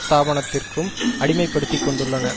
ஸ்தாபனத்திற்கும் அடிமைப்படுத்திக்கொண்டுள்ளன